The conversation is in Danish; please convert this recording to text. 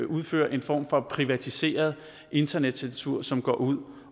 udfører en form for privatiseret internetcensur som går ud